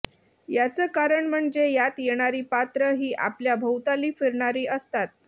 याचं कारण म्हणजे यात येणारी पात्रं ही आपल्या भोवताली फिरणारी असतात